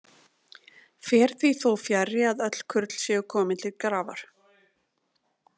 Fer því þó fjarri að öll kurl séu komin til grafar.